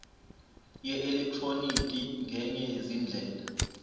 yeelektroniki ngenye yezindlela